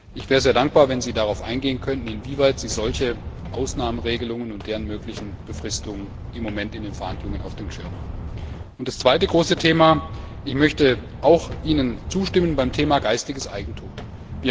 Ich wäre sehr dankbar, wenn Sie darauf eingehen könnten, inwieweit Sie solche Ausnahmeregelungen und deren mögliche Befristungen im Moment in den Verhandlungen auf dem Schirm haben. Das zweite große Thema Ich möchte Ihnen auch beim Thema geistiges Eigentum zustimmen.